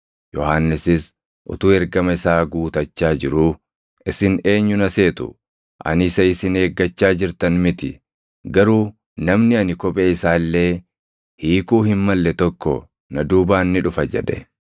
Yohannisis utuu ergama isaa guutachaa jiruu, ‘Isin eenyu na seetu? Ani isa isin eeggachaa jirtan miti. Garuu namni ani kophee isaa illee hiikuu hin malle tokko na duubaan ni dhufa’ jedhe.